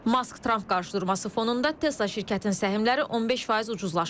Mask-Tramp qarşıdurması fonunda Tesla şirkətinin səhmləri 15% ucuzlaşıb.